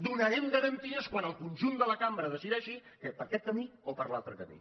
donarem garanties quan el conjunt de la cambra decideix per aquest camí o per l’altre camí